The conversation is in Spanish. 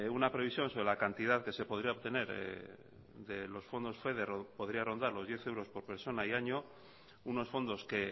una previsión sobre la cantidad que se podría obtener de los fondos fue que podría rondar los diez euros por persona y año unos fondos que